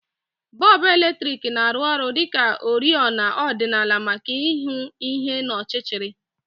Bọlbụ eletriki na-arụ ọrụ dị ka oriọna ọdịnala maka ịhụ ihe n'ọchịchịrị